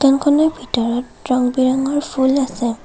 দোকানখনৰ ভিতৰত ৰং বিৰঙৰ ফুল আছে।